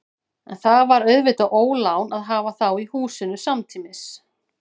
En það var auðvitað ólán að hafa þá í húsinu samtímis.